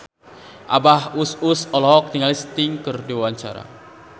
Abah Us Us olohok ningali Sting keur diwawancara